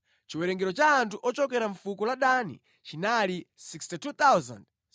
Chiwerengero cha anthu ochokera mʼfuko la Dani chinali 62,700.